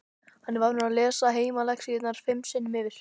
Hann er vanur að lesa heimalexíurnar fimm sinnum yfir.